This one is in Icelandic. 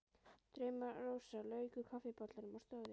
Drauma-Rósa lauk úr kaffibollanum og stóð upp.